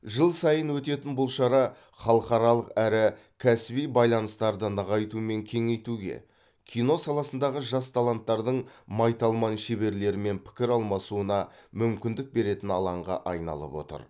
жыл сайын өтетін бұл шара халықаралық әрі кәсіби байланыстарды нығайту мен кеңейтуге кино саласындағы жас таланттардың майталман шеберлермен пікір алмасуына мүмкіндік беретін алаңға айналып отыр